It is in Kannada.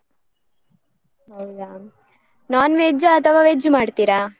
ಹೌದಾ? non-veg ಆ ಅಥವಾ veg ಮಾಡ್ತಿರಾ?